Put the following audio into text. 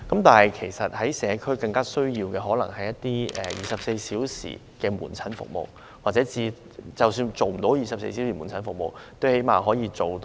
但是，其實社區更需要一些24小時門診服務，或最少是較長的晚間門診服務。